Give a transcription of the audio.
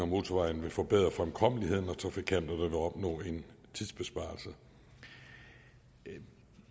motorvejen vil forbedre fremkommeligheden så trafikanterne vil opnå en tidsbesparelse jeg